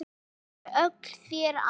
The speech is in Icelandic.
Þau voru þér allt.